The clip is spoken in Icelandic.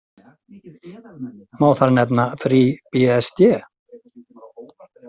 Má þar nefna FreeBSD.